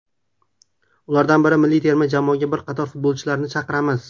Ulardan ham milliy terma jamoaga bir qator futbolchilarni chaqiramiz.